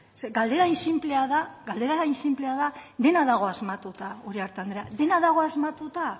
galdera hain sinplea da dena dagoela asmatuta uriarte andrea dena dago asmatuta